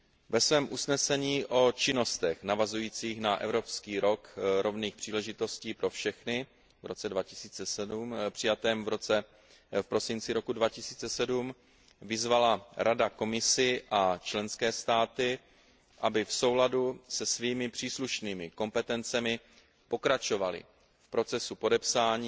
Ve svém usnesení o činnostech navazujících na Evropský rok rovných příležitostí pro všechny v roce 2007 přijatém v prosinci roku 2007 vyzvala Rada Komisi a členské státy, aby v souladu se svými příslušnými kompetencemi pokračovaly v procesu podepsání,